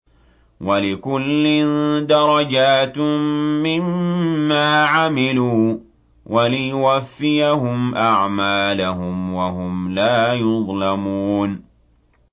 وَلِكُلٍّ دَرَجَاتٌ مِّمَّا عَمِلُوا ۖ وَلِيُوَفِّيَهُمْ أَعْمَالَهُمْ وَهُمْ لَا يُظْلَمُونَ